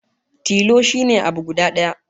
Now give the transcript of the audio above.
Tilo shine abu guda daya